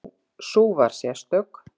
Sú var sérstök.